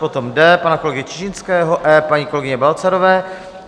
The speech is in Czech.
Potom D pana kolegy Čižinského, E paní kolegyně Balcarové.